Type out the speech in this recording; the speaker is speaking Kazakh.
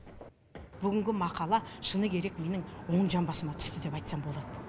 бүгінгі мақала шыны керек менің оң жамбасыма түсті деп айтсам болады